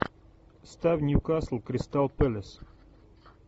ставь ньюкасл кристал пэлас